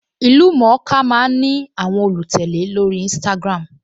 Ìlú-mọ̀-ọ́n-ka máa ń ní àwọn olùtẹ̀lé lórí Instagram